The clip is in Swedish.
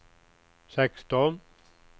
sexton